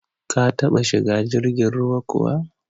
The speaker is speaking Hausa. Ka taba shiga jirgin ruwa kuwa?